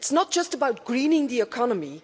it is not just about greening the economy.